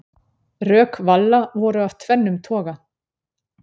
Rök Valla voru af tvennum toga.